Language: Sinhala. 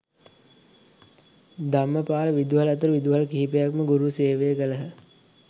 ධම්මපාල විදුහල ඇතුළු විදුහල් කිහිපයකම ගුරු සේවය කළහ